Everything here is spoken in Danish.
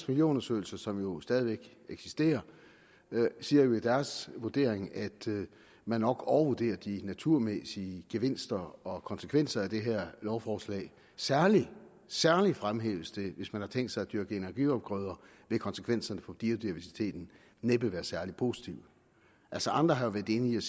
miljøundersøgelser som jo stadig eksisterer siger i deres vurdering at man nok overvurderer de naturmæssige gevinster og konsekvenser af det her lovforslag særlig særlig fremhæves det hvis man har tænkt sig at dyrke energiafgrøder vil konsekvenserne for biodiversiteten næppe være særlig positive altså andre har været inde